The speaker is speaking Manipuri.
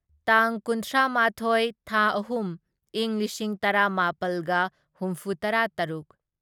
ꯇꯥꯡ ꯀꯨꯟꯊ꯭ꯔꯥꯃꯥꯊꯣꯢ ꯊꯥ ꯑꯍꯨꯝ ꯢꯪ ꯂꯤꯁꯤꯡ ꯇꯔꯥꯃꯥꯄꯜꯒ ꯍꯨꯝꯐꯨꯇꯔꯥꯇꯔꯨꯛ